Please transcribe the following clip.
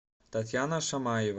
татьяна шамаева